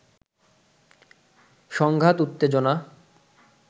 সংঘাত উত্তেজনা